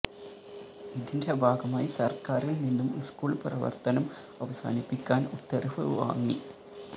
ഇതിന്റെ ഭാഗമായി സര്ക്കാരില് നിന്നും സ്കൂള് പ്രവര്ത്തനം അവസാനിപ്പിക്കാന് ഉത്തരവ് വാങ്ങി